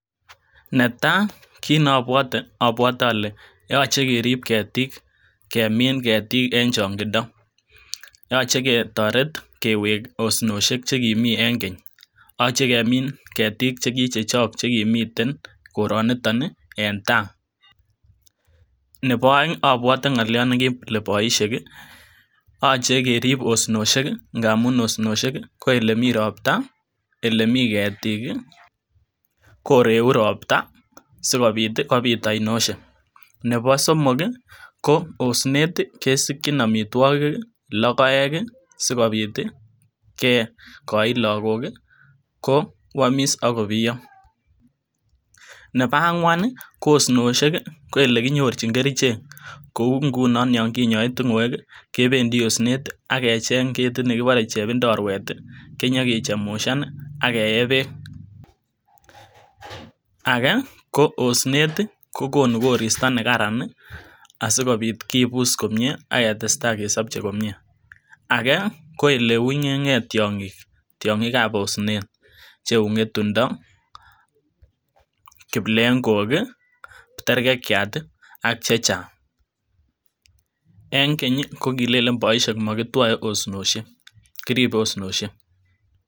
Netaa kiit nobwote abwotee ole yoche kerib ketik kemin ketik en chong'indo yoche ketoret kewek osnosiek chekimii en keny, yoche kemin ketik chekichechok chekimiten koroniton i en taa, nebo oeng abwote ngoliot nekile boishek i yoche kerib osnosiek ng'amun osnosiek i ko elemii robta, elemii ketik koreu robta sikobit kobit ainoshek, nebo somok i ko osnet kesikyin amitwokik, lokoek sikobit koit lokok kwomis akobiyo, nebo angwan ko osnosiek i ko elekinyorchin kerichek kou ng'unon yon kinyoe ting'oek i kebendi osnet akejeng kit nekibore chebindorwet kinyokichemushan akeye beek, akee ko osnet i kokonu koristo nekaran asikobit kibus komnyee aketesta kesobche komnyee, akee ko eleunyenkee tiong'ik tiong'ikab osnet cheu ngetundo, kiplekok, terkekiat ak chechang, eng Keny kokilelen boishek mokitwoe osnosiek kiribe osnosiek.